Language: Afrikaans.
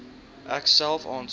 ek self aansoek